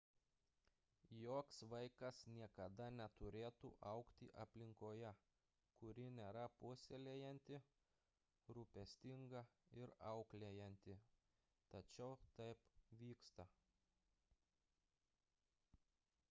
joks vaikas niekada neturėtų augti aplinkoje kuri nėra puoselėjanti rūpestinga ir auklėjanti tačiau taip vyksta